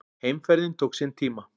Heimferðin tók sinn tíma.